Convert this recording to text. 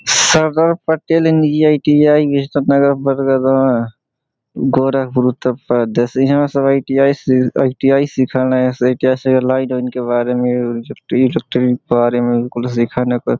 सारदार पटेल निजी आई.टी.आई नगर गोरखपुर उत्तर प्रदेश यहाँ सब आई.टी.आई बारे में भी सिखाने पर --